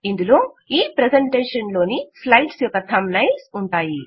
ఇందులో ఈ ప్రెజెంటేషన్ ప్రెజెంటేషన్లోని స్లైడ్స్ యొక్క థంబ్ నైల్స్ ఉంటాయి